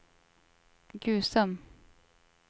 Gusum